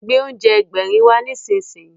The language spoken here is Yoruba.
Gbé oúnjẹ Ẹgbẹ̀rin wá nísinsìnyí!